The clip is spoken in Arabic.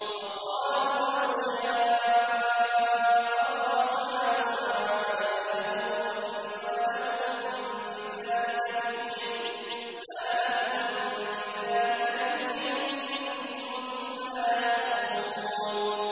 وَقَالُوا لَوْ شَاءَ الرَّحْمَٰنُ مَا عَبَدْنَاهُم ۗ مَّا لَهُم بِذَٰلِكَ مِنْ عِلْمٍ ۖ إِنْ هُمْ إِلَّا يَخْرُصُونَ